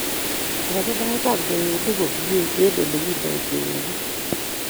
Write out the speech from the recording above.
Kogipangan kwenyonik komnyei eng ole kindenoi kwenyonik